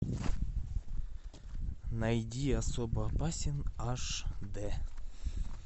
найди особо опасен аш д